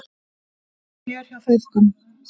Fjör hjá feðgunum